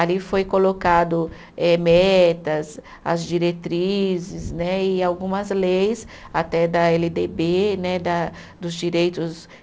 Ali foi colocado eh metas, as diretrizes né e algumas leis, até da Ele Dê Bê né da, dos direitos